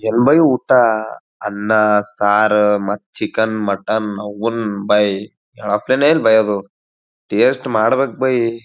ಏನ್ ಬಾಯಿ ಊಟ ಅನ್ನ ಸಾರು ಮತ್ತು ಚಿಕನ್ ಮಟನ್ ಅವ್ನೌನ ಬೈಯ ಹೆಳಪ್ಲೆನೆ ಇಲ್ಲ ಬೈಯ ಅದು ಟೇಸ್ಟ್ ಮಾಡ್ಬೇಕ್ ಬಾಯಿ.